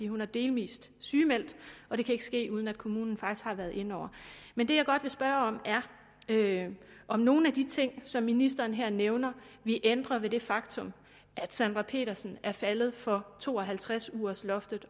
hun er delvis sygemeldt og det kan ikke ske uden at kommunen faktisk har været inde over men det jeg godt vil spørge om er om nogle af de ting som ministeren her nævner ville ændre ved det faktum at sandra petersen er faldet for to og halvtreds ugers loftet